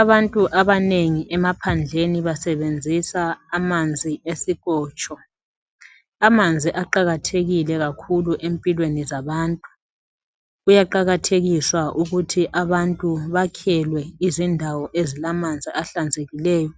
Abantu abanengi emaphandleni basebenzisa amanzi ezikotsho. Amanzi aqakathekile kakhulu empilweni zabantu. Kuyaqakathekiswa ukuthi abantu bakhelwe izindawo ezilamanzi ahlanzekileyo